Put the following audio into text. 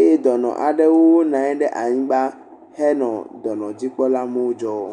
eye dɔnɔ aɖewo bɔbɔ nɔ anyi le anyigba henɔ dɔnɔdzikpɔ amewo dzɔm.